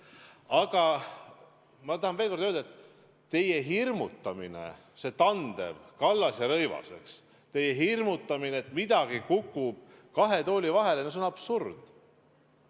Aga ma tahan veel kord öelda, et teie hirmutamine – pean silmas tandemit Kallas ja Rõivas –, et midagi kukub nüüd kahe tooli vahele – no see on absurd.